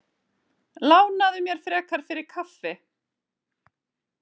Lánaðu mér frekar fyrir kaffi.